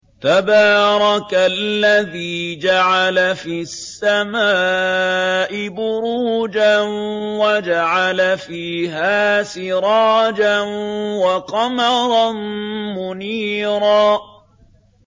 تَبَارَكَ الَّذِي جَعَلَ فِي السَّمَاءِ بُرُوجًا وَجَعَلَ فِيهَا سِرَاجًا وَقَمَرًا مُّنِيرًا